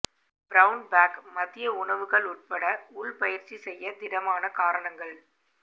brown bag மதிய உணவுகள் உட்பட உள் பயிற்சி செய்ய திடமான காரணங்கள்